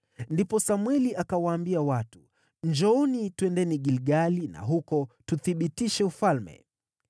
Ndipo Samweli akawaambia watu, “Njooni, twendeni Gilgali na huko tuthibitishe ufalme.”